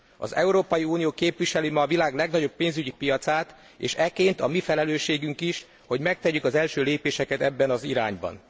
Az Európai Unió képviseli ma a világ legnagyobb pénzügyi piacát, és ekként a mi felelősségünk is, hogy megtegyük az első lépéseket ebben az irányban.